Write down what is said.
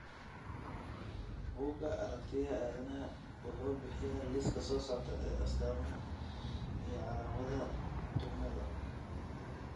Bugga Aragtiyaha Aanadanaha wuxuu bixiyaa liiska soo socda ee astamaha iyo calaamadaha duumada.